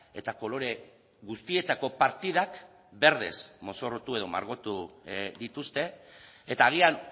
eta kolore guztietako partidak berdez mozorrotu edo margotu dituzte eta agian